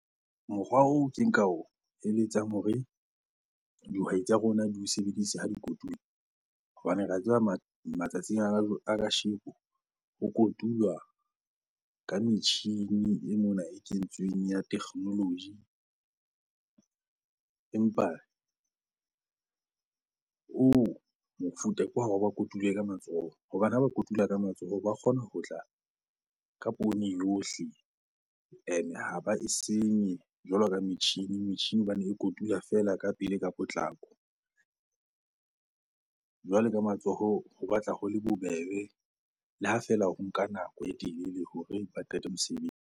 Mokgwa oo ke nka o eletsang hore dihwai tsa rona di o sebedise ha di kotula hobane re a tseba matsatsing ao a kasheko ho kotulwa ka metjhini e mona e kentsweng ya technology. Empa oo mofuta ke wa ba kotule ka matsoho hobane ha ba kotula ka matsoho ba kgona ho tla ka poone yohle ene ha ba e senye jwalo ka metjhini, metjhini hobane e kotula fela ka pele ka potlako. Jwale ka matsoho ho batla ho le bobebe le ha feela ho nka nako e telele hore ba qete .